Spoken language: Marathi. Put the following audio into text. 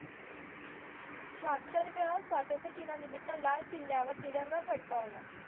शाहतरव्या स्वतंत्र दिना निमित्त लाल किल्ल्यावर तिरंगा फडकवला